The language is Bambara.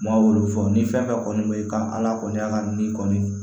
Maaw wolo fɔ ni fɛn fɛn kɔni bɛ ye i kan ala kɔni ala ni kɔni